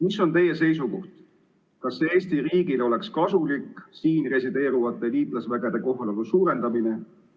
Mis on teie seisukoht: kas Eesti riigile oleks kasulik siin resideerivate liitlasüksuste kohalolu suurendamine?